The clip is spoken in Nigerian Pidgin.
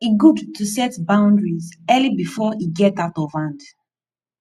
e gud to set boundaries early bifor e get out of hand